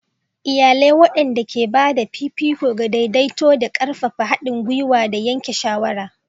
Iyalai waɗanda ke ba da fifiko ga daidaito da ƙarfafa haɗin gwiwa da yanke shawara.